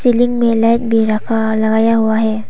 Ceiling में light भी रखा लगाया हुआ है।